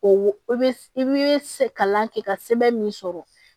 O i bɛ i bɛ kalan kɛ ka sɛbɛn min sɔrɔ